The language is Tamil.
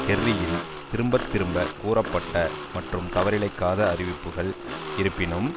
கெர்ரியின் திரும்ப திரும்ப கூறப்பட்ட மற்றும் தவறிழைக்காத அறிவிப்புக்கள் இருப்பினும்